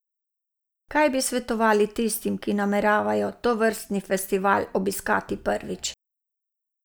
Kaj bi svetovali tistim, ki nameravajo tovrstni festival obiskati prvič?